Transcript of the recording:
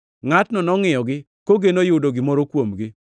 Ngʼatno nongʼiyogi, kogeno yudo gimoro kuomgi.